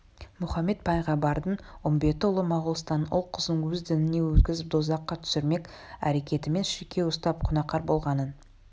мұхаммед пайғамбардың үмбеті ұлы моғолстанның ұл-қызын өз дініне өткізіп дозаққа түсірмек әрекетімен шіркеу ұстап күнәкар болғаның